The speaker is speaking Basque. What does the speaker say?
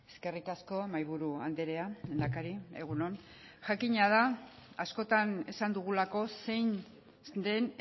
eskerrik asko mahaiburu andrea lehendakari egun on jakina da askotan esan dugulako zein den